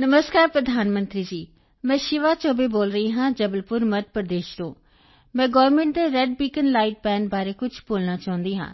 ਨਮਸਕਾਰ ਪ੍ਰਧਾਨ ਮੰਤਰੀ ਜੀ ਮੈਂ ਸ਼ਿਵਾ ਚੌਬੇ ਬੋਲ ਰਹੀ ਹਾਂ ਜਬਲਪੁਰ ਮੱਧ ਪ੍ਰਦੇਸ਼ ਤੋਂ ਮੈਂ ਗੌਰਮਿੰਟ ਦੇ ਰੇਡ ਬੀਕਨ ਲਾਈਟ ਬਾਨ ਬਾਰੇ ਕੁਝ ਬੋਲਣਾ ਚਾਹੁੰਦੀ ਹਾਂ